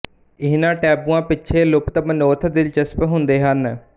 ਇਹਨਾਂ ਟੈਬੂਆਂ ਪਿੱਛੇ ਲੁਪਤ ਮਨੋਰਥ ਦਿਲਚਸਪ ਹੁੰਦੇ ਹਨ